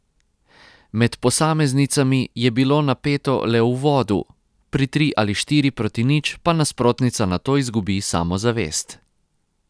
Med posameznicami je bilo napeto le v uvodu, pri tri ali štiri proti nič pa nasprotnica nato izgubi samozavest.